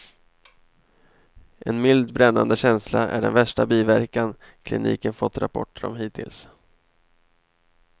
En mild brännande känsla är den värsta biverkan kliniken fått rapporter om hittills.